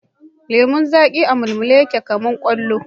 Lemun zaƙi a mulmule yake kamar kwallo